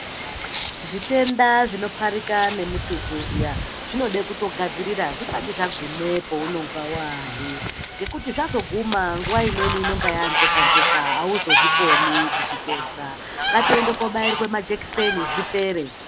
Zvitenda zvinopharika nemututu zviya zvinode kutogadzirira zvisati zvaguma peunonga waari ngekuti zvazoguma nguwa imweni inonga yaanzeka nzeka auzozvikoni kuzvipedza ngatiende koobairwa majekiseni zvipere.